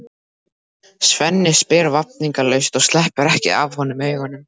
Svenni spyr vafningalaust og sleppir ekki af honum augunum.